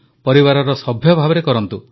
ପରିବାରର ସଭ୍ୟ ଭାବେ କରନ୍ତୁ